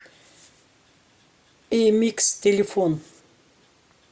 эмикс телефон